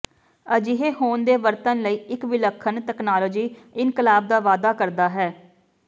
ਅਜਿਹੇ ਹੋਣ ਦੇ ਵਰਤਣ ਲਈ ਇੱਕ ਵਿਲੱਖਣ ਤਕਨਾਲੋਜੀ ਇਨਕਲਾਬ ਦਾ ਵਾਅਦਾ ਕਰਦਾ ਹੈ